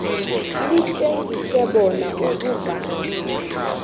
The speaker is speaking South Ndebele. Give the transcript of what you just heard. litjengise bona ukuvalwa